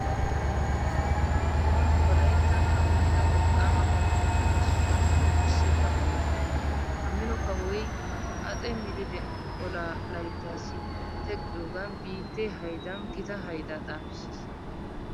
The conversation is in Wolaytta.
Kawo xooni wolayttan kawotida wolqqaama kawotuppe issuwanne wurssetta kawo. Ha mino kawoy haxe milile olaa layttaassi teqqiyogan biittee haydan gita haydaa xaafissiis.